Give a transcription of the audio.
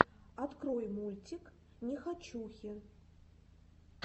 открой мультик нехочухи